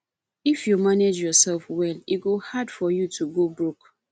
if you manage yoursef well e go hard for you to go broke